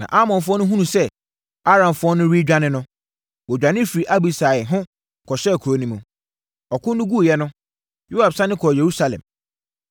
Na Amonfoɔ no hunuu sɛ Aramfoɔ no redwane no, wɔdwane firii Abisai ho kɔhyɛɛ kuro no mu. Ɔko no guiɛ no, Yoab sane kɔɔ Yerusalem.